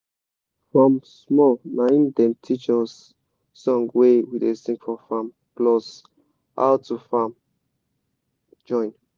from small naim dem teach us song wey we da sing for farm plus how to farm join